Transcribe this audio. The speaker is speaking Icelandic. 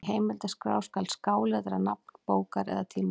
Í heimildaskrá skal skáletra nafn bókar eða tímarits.